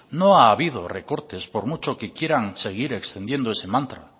no ha habido recortes por mucho que quieran seguir extendiendo ese mantra